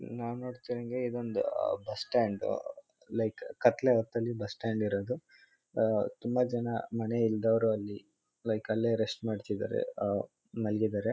ನಾವ್ ನೋಡುತ್ತಾ ಇರಂಗೆ ಇದೊಂದ್ ಹ್ ಬಸ್ಸ್ಟ್ಯಾಂಡ್ . ಲೈಕ್ ಕತ್ಲೇ ಹೊತ್ತಲ್ಲಿ ಬಸ್ ಸ್ಟಾಂಡ್ ಇರದು. ಹಾ ತುಂಬ ಜನ ಮನೆ ಇಲ್ದವರು ಅಲ್ಲಿ ಲೈಕ್ ಅಲ್ಲೆ ರೆಸ್ಟ್ ಮಾಡ್ತಿದ್ದಾರೆ. ಹ್ ಮಲಗಿದ್ದಾರೆ.